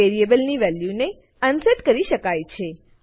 વેરીએબલની વેલ્યુને અનસેટ કરી શકાય છે